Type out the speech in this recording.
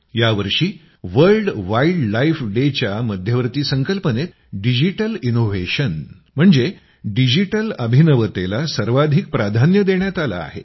यावर्षी world wild life day च्या मध्यवर्ती संकल्पनेत डिजिटल इनोव्हेशन म्हणजे डिजिटल अभिनवतेला सर्वाधिक प्राधान्य देण्यात आलं आहे